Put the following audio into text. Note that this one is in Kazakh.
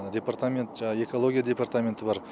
департамент жаңағы экология департаменті бар